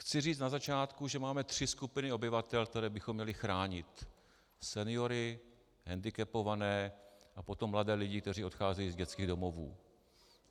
Chci říci na začátku, že máme tři skupiny obyvatel, které bychom měli chránit: seniory, hendikepované a potom mladé lidi, kteří odcházejí z dětských domovů.